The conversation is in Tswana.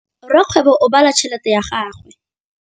Rakgwêbô o bala tšheletê ya gagwe.